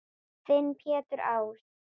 Þinn Pétur Ás.